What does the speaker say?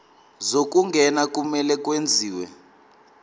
zokungena kumele kwenziwe